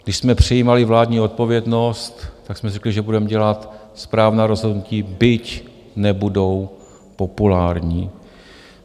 Když jsme přijímali vládní odpovědnost, tak jsme řekli, že budeme dělat správná rozhodnutí, byť nebudou populární.